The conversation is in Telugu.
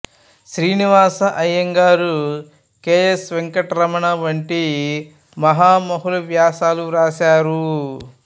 శ్రీనివాస అయ్యంగార్ కె ఎస్ వెంకటరమణి వంటి మహామహులు వ్యాసాలు వ్రాశారు